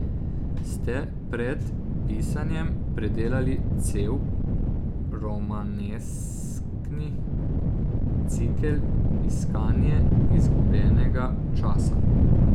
Ste pred pisanjem predelali cel romaneskni cikel Iskanje izgubljenega časa?